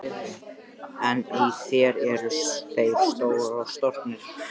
En í þér eru þeir stroknir.